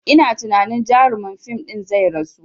Ina tunani jarumin fim ɗin zai rasu